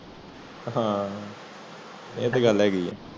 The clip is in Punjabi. ਹਨ ਇਹ ਤੇ ਗੱਲ ਹੇਗੀ ਆ